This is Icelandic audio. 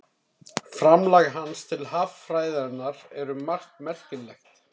Framlag hans til haffræðinnar er um margt merkilegt.